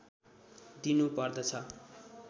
दिनु पर्दछ